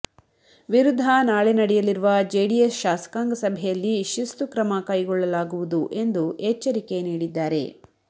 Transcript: ವಿರುದ್ಧ ನಾಳೆ ನಡೆಯಲಿರುವ ಜೆಡಿಎಸ್ ಶಾಸಕಾಂಗ ಸಭೆಯಲ್ಲಿ ಶಿಸ್ತು ಕ್ರಮ ಕೈಗೊಳ್ಳಲಾಗುವುದು ಎಂದು ಎಚ್ಚರಿಕೆ ನೀಡಿದ್ದಾರೆ